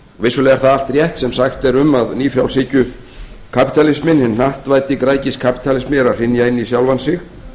vissulega er það allt rétt sem sagt er um að ný frjálshyggjukapítalisminn hinn hnattvæddi græðgiskapítalismi er að hrynja inn í sjálfan sig